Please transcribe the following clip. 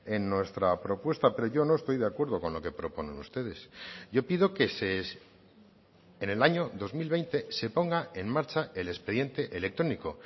en nuestra propuesta pero yo no estoy de acuerdo con lo que proponen ustedes yo pido que en el año dos mil veinte se ponga en marcha el expediente electrónico